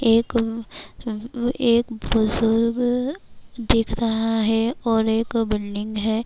ایک بزرگ دیکھ رہا ہے اور ایک بلڈنگ ہے-